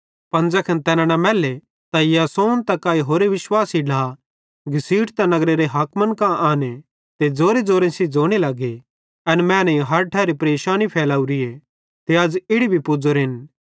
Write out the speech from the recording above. पन ज़ैखन तैना न मैल्ले त यासोन त काई होरे विश्वासी ढ्ला घसीटतां नगरेरे हाकिमन कां आने ते ज़ोरेज़ोरे सेइं ज़ोने लगे एन मैनेईं हर ठैरी परेशानी फैलावरी ते अज़ इड़ी भी पुज़ोरेन